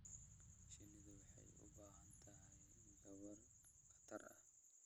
Shinnidu waxay u baahan tahay gabaad khatar ah.